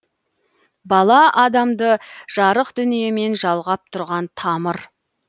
бала адамды жарық дүниемен жалғап тұрған тамыр